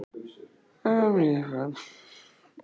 Um hlýjan faðm og ást og draum, um líf